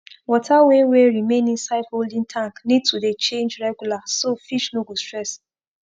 water wey wey remain inside holding tank need to dey change regular so fish no go stress